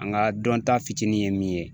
An ka dɔnta fitinin ye min ye